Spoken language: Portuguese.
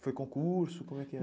Foi concurso, como é que era?